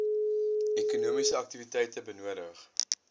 ekonomiese aktiwiteite benodig